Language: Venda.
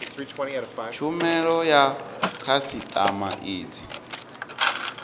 tshumelo ya khasitama i dzi